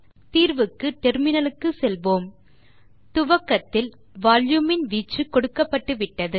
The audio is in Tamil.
தீர்வுக்கு முனையத்துக்கு செல்வோம் துவக்கத்தில் வால்யூம் இன் வீச்சு கொடுக்கப்பட்டுவிட்டது